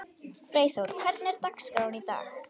Freyþór, hvernig er dagskráin í dag?